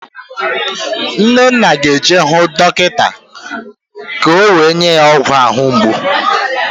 Nnenna ga-eje hụ dọkịta ka o nye ya ọgwụ ahụ mgbu